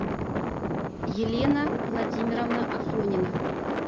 елена владимировна афонина